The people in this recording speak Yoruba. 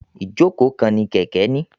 Ijoko kan ni kẹkẹ ni.